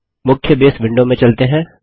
मुख्य base window में चलते हैं